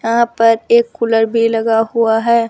यहां पर एक कूलर भी लगा हुआ है।